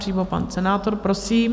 Přímo pan senátor, prosím.